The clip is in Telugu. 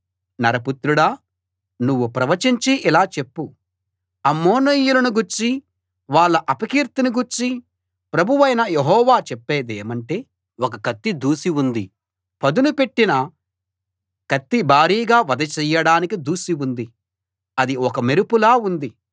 నరపుత్రుడా నువ్వు ప్రవచించి ఇలా చెప్పు అమ్మోనీయులను గూర్చీ వాళ్ళ అపకీర్తిని గూర్చీ ప్రభువైన యెహోవా చెప్పేదేమంటే ఒక కత్తి ఒక కత్తి దూసి ఉంది పదును పెట్టిన కత్తి భారీగా వధ చెయ్యడానికి దూసి ఉంది అది ఒక మెరుపులా ఉంది